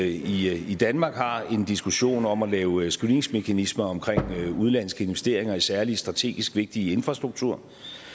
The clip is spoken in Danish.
i i danmark har en diskussion om at lave screeningsmekanismer omkring udenlandske investeringer i særlig strategisk vigtig infrastruktur